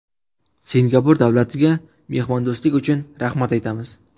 Singapur davlatiga mehmondo‘stlik uchun rahmat aytamiz.